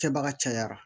Kɛbaga cayara